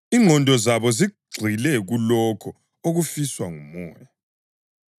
Ingqondo yomuntu olesono yikufa, kodwa ingqondo ebuswa nguMoya yikuphila lokuthula;